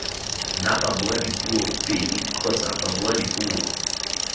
nna babuadipuo pedi kgotsa babuadipuo